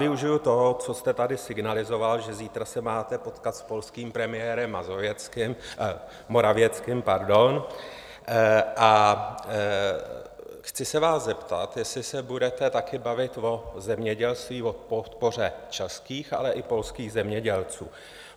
Využiji toho, co jste tady signalizoval, že zítra se máte potkat s polským premiérem Morawieckým, a chci se vás zeptat, jestli se budete taky bavit o zemědělství, o podpoře českých, ale i polských zemědělců?